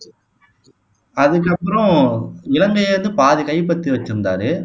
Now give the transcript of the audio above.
அதுக்கப்புறம் இலங்கைய வந்து பாதி கைப்பற்றி வச்சிருந்தாரு